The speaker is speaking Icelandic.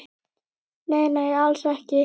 Nei, nei, alls ekki.